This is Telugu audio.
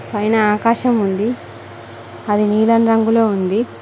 పైన ఆకాశం ఉంది అది నీలం రంగులో ఉంది.